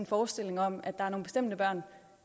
forestilling om at der er nogle bestemte børn